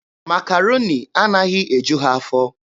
Makaroni anaghị eju ha afọ.